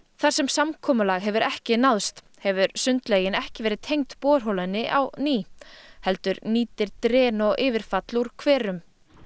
þar sem samkomulag hefur ekki náðst hefur sundlaugin ekki verið tengd borholunni á ný heldur nýtir dren og yfirfall úr hverum